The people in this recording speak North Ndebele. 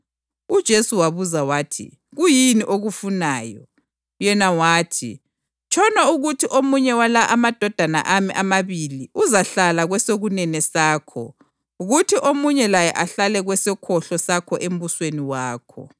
UJesu wabuza wathi, “Kuyini okufunayo?” Yena wathi, “Tshono ukuthi omunye wala amadodana ami amabili uzahlala kwesokunene sakho kuthi omunye laye ahlale kwesokhohlo sakho embusweni wakho.”